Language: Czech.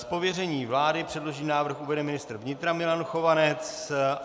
Z pověření vlády předložený návrh uvede ministr vnitra Milan Chovanec.